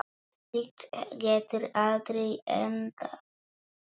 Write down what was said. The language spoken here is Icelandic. Slíkt getur aldrei endað vel.